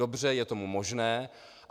Dobře, je to možné.